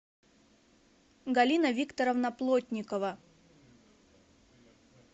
галина викторовна плотникова